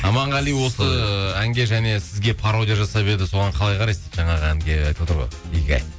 аманғали осы әнге және сізге пародия жасап еді соған қалай қарайсыз жаңағы әнге айтып отыр ғой игигай